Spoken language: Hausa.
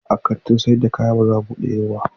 A'a, kantin sayar da kaya ba za a bude yau ba.